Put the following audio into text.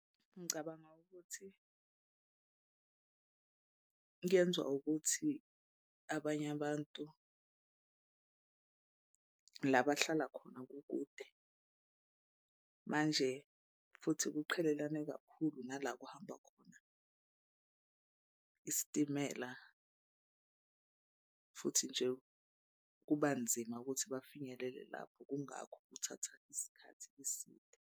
Ngicabanga ukuthi kuyenza ukuthi abanye abantu la bahlala khona kukude manje futhi kuqhelelana kakhulu nala kuhamba khona isitimela. Futhi nje kuba nzima ukuthi bafinyelele lapho. Kungakho kuthatha isikhathi eside.